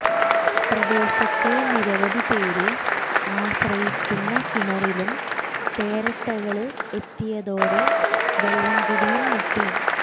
പ്രദേശത്തെ നിരവധി പേര് ആശ്രയിക്കുന്ന കിണറിലും തേരട്ടകള് എത്തിയതോടെ വെള്ളം കുടിയും മുട്ടി